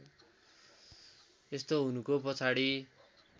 यस्तो हुनुको पछाडि